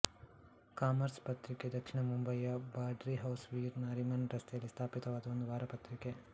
commerce ಪತ್ರಿಕೆ ದಕ್ಷಿಣ ಮುಂಬಯಿಯ ಬ್ರಾಡಿ ಹೌಸ್ ವೀರ್ ನಾರಿಮನ್ ರಸ್ತೆಯಲ್ಲಿ ಸ್ಥಾಪಿತವಾದ ಒಂದು ವಾರಪತ್ರಿಕೆ